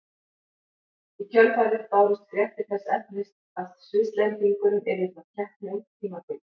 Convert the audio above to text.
Í kjölfarið bárust fréttir þess efnis að Svisslendingurinn yrði frá keppni út tímabilið.